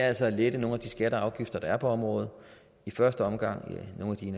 altså at lette nogle af de skatter og afgifter der er på området i første omgang nogle